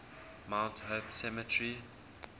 mount hope cemetery